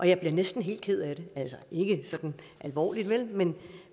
jeg bliver næsten helt ked af det altså ikke sådan alvorligt men